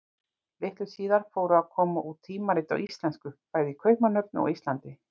Litlu síðar fóru að koma út tímarit á íslensku, bæði í Kaupmannahöfn og á Íslandi.